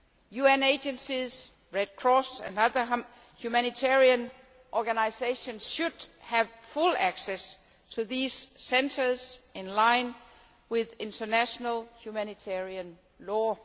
UN agencies, the Red Cross and other humanitarian organisations should have full access to these centres in line with international humanitarian law.